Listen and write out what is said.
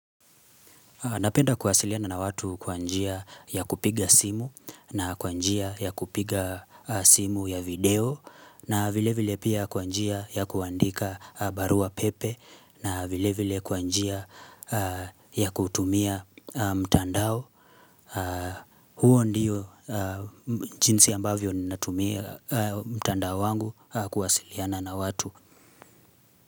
Napenda kuwasiliana na watu kwa njia ya kupiga simu na kwa njia ya kupiga simu ya video na vile vile pia kwa njia ya kuandika barua pepe na vile vile kwa njia ya kutumia mtandao. Huo ndiyo jinsi ambavyo natumia mtandao wangu kuwasiliana na watu.